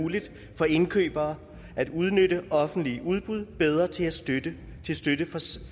muligt for indkøbere at udnytte offentlige udbud bedre til støtte